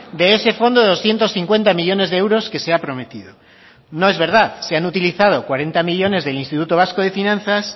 de ese fondo de doscientos cincuenta millónes de euros que se ha prometido no es verdad se han utilizado cuarenta millónes del instituto vasco de finanzas